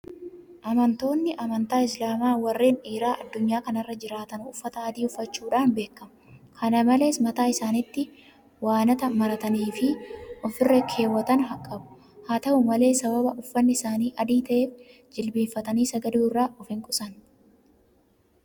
Amantoonni Amantaa Islaamaa warreen dhiiraa addunyaa kana irra jiraatan uffata adii uffachuudhaan beekamu. Kana malees mataa isaaniitti waanata marataniifi ofirra keewwatan qabu. Haata'u malee sababa uffanni isaanii adii ta'eef jilbeeffatanii sagaduu irraa ofinqusanne.